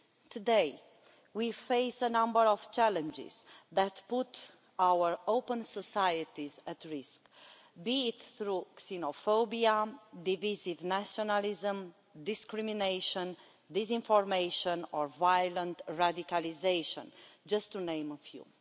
Today we face a number of challenges that put our open societies at risk, be it through xenophobia, divisive nationalism, discrimination, disinformation or violent radicalisation, to name just a few.